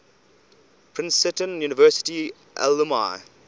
princeton university alumni